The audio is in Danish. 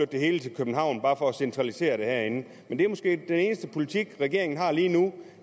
det hele til københavn bare for at centralisere det herinde men det er måske den eneste politik regeringen har lige nu